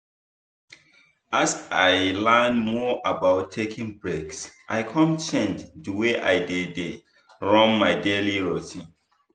as i learn more about taking breaks i come change the way i dey dey run my daily routine.